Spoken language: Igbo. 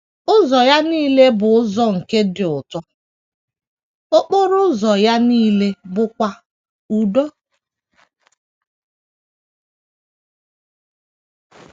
Ụzọ ya nile bụ ụzọ nke ịdị ụtọ, okporo ụzọ ya nile bụkwa udo.